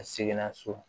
A seginna so